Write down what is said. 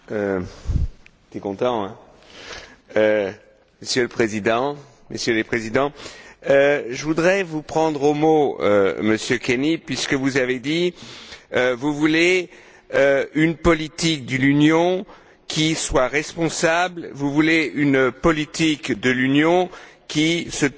Monsieur le Président, Messieurs les présidents, je voudrais vous prendre au mot, Monsieur Kenny, puisque vous avez dit que vous vouliez une politique de l'Union, qui soit responsable, une politique de l'Union qui se tourne vers la stabilité de l'emploi et la croissance.